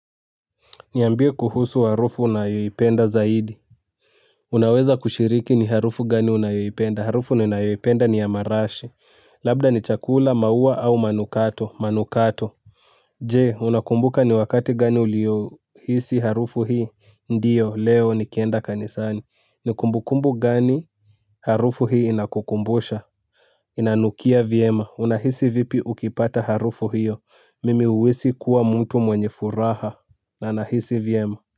Niambie kuhusu harufu unayoipenda zaidi. Unaweza kushiriki ni harufu gani unayoipenda. Harufu ni ninayoipenda ni ya marashi. Labda ni chakula, maua au manukato. Manukato. Je, unakumbuka ni wakati gani uliyo hisi harufu hii. Ndio, leo nikienda kanisani. Ni kumbu kumbu gani harufu hii inakukumbusha. Inanukia vyema. Unahisi vipi ukipata harufu hiyo. Mimi huhisi kuwa mtu mwenye furaha. Na nahisi vyema.